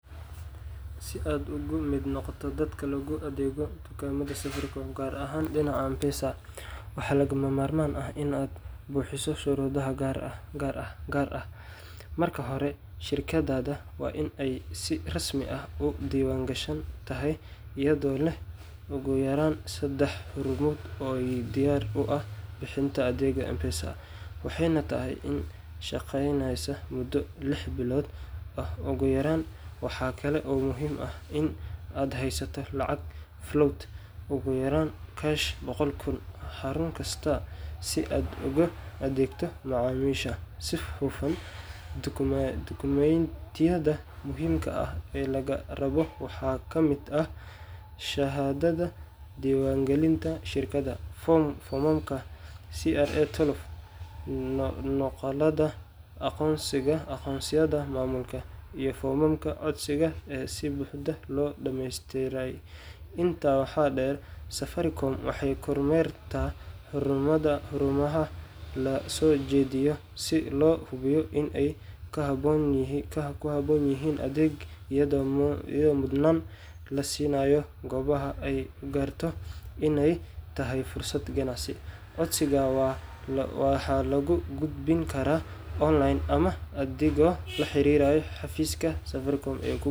Si aad uga mid noqoto dadka loogu adeego dukaamada Safaricom, gaar ahaan dhinaca M-PESA, waxaa lagama maarmaan ah in aad buuxiso shuruudo gaar ah. Marka hore, shirkaddaada waa in ay si rasmi ah u diiwaangashan tahay, iyadoo leh ugu yaraan saddex xarumood oo diyaar u ah bixinta adeegyada M-PESA, waxayna tahay in ay shaqeyneysay muddo lix bilood ah ugu yaraan. Waxa kale oo muhiim ah in aad haysato lacag float ugu yaraan Kash boqol kun xarun kasta si aad ugu adeegto macaamiisha si hufan. Dukumentiyada muhiimka ah ee lagaa rabo waxaa ka mid ah shahaadada diiwaangelinta shirkadda, foomamka CR12, nuqulada aqoonsiyada maamulka, iyo foomamka codsiga ee si buuxda loo dhameystiray. Intaa waxaa dheer, Safaricom waxay kormeertaa xarumaha la soo jeediyo si loo hubiyo in ay ku habboon yihiin adeegga, iyadoo mudnaanta la siinayo goobaha ay u aragto inay tahay fursad ganacsi. Codsiga waxaa lagu gudbin karaa online ama adigoo la xiriiraya xafiiska Safaricom ee kugu.